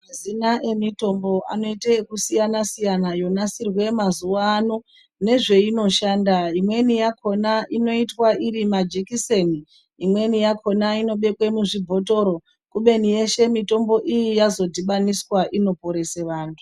Mazina emitombo anoite ekusiyana -siyana yonasirwe mazuwa ano nezveinoshanda. Imweni yakhona inoitwa iri majikiseni, imweni yakhona inobekwe muzvibhotoro kubeni yeshe mitombo iyi yazodhibaniswa inoporese vantu.